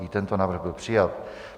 I tento návrh byl přijat.